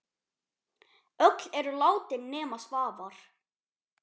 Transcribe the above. Öll eru látin nema Svavar.